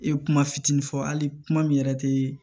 I ye kuma fitinin fɔ hali kuma min yɛrɛ tee